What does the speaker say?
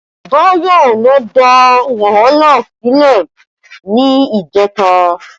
Bayo ló dà wàhálà sílẹ̀ ni ìjẹta